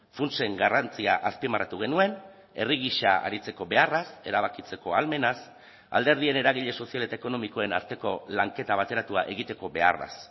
funtsen garrantzia azpimarratu genuen herri gisa aritzeko beharraz erabakitzeko ahalmenaz alderdien eragile sozial eta ekonomikoen arteko lanketa bateratua egiteko beharraz